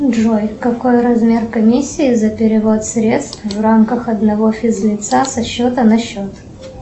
джой какой размер комиссии за перевод средств в рамках одного физ лица со счета на счет